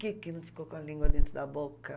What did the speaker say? Por que que não ficou com a língua dentro da boca?